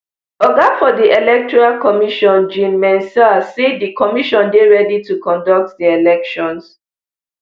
oga for di electoral commission jean mensah say di commission dey ready to conduct di elections